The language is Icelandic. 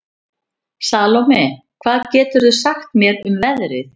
Salome, hvað geturðu sagt mér um veðrið?